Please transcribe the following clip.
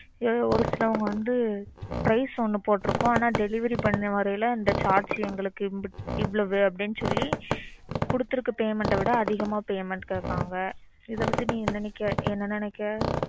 இதுல ஒரு சிலவங்க வந்து price ஒண்ணு போட்ருக்கும். ஆனா delivery பண்ண வரைல இந்த charge எங்களுக்கு இம்புட் இவ்வளவுன்னு சொல்லி குடுத்துருக்கிற payment அ விட அதிகமா payment கேக்கறாங்க இதை பத்தி நீ என்ன நினைக்க? என்ன நினைக்க?